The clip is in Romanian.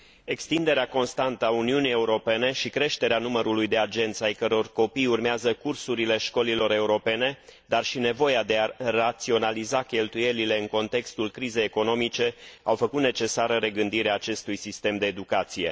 Extinderea constantă a Uniunii Europene și creșterea numărului de agenți ai căror copii urmează cursurile școlilor europene, dar și nevoia de a raționaliza cheltuielile în contextul crizei economice, au făcut necesară regândirea acestui sistem de educație.